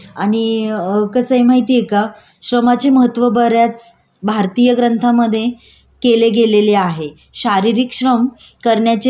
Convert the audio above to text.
शारीरिक क्षम करण्याचे व्यक्तीला .स शरीर श म्हणजे शारीरिक लाभून शकते.